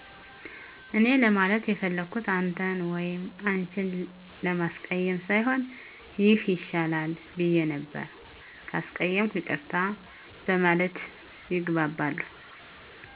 እኔ ለማለት የፈለኩት አንተን ወይም አንችን ለማስቀየም ሳይሆን ይህ ይሻላል ብየ ነበር። ካስቀየምኩ ይቅርታ በማለት ይግባባሉ።